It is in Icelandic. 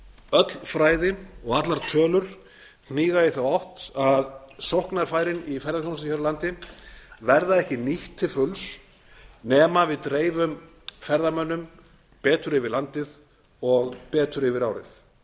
öll fræði og allar tölur hníga í þá átt að sóknarfærin í ferðaþjónustu hér á landi verða ekki nýtt til fulls nema við dreifum ferðamönnum betur yfir landið og betur yfir árið